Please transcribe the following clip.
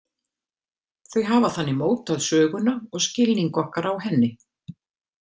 Þau hafa þannig mótað söguna og skilning okkar á henni.